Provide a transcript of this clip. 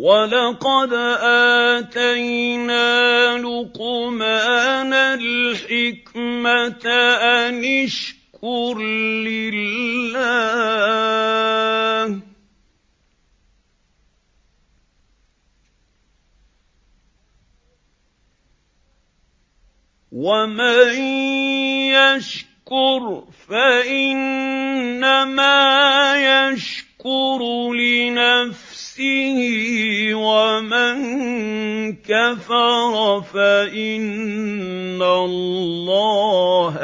وَلَقَدْ آتَيْنَا لُقْمَانَ الْحِكْمَةَ أَنِ اشْكُرْ لِلَّهِ ۚ وَمَن يَشْكُرْ فَإِنَّمَا يَشْكُرُ لِنَفْسِهِ ۖ وَمَن كَفَرَ فَإِنَّ اللَّهَ